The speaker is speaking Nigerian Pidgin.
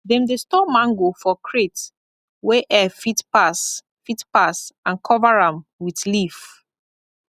dem dey store mango for crate wey air fit pass fit pass and cover am with leaf